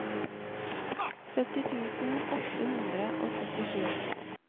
sytti tusen åtte hundre og syttisju